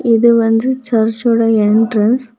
இது வந்து சர்ச்சோட என்ட்ரன்ஸ் .